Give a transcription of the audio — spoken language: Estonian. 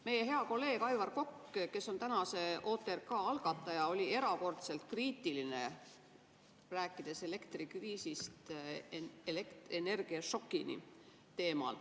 Meie hea kolleeg Aivar Kokk, kes on tänase OTRK algataja, oli erakordselt kriitiline, rääkides teemal "Elektrikriisist energiašokini".